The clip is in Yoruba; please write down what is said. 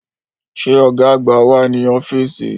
Ṣé Ọ̀gá àgbà wà ní ọ́fíìsì?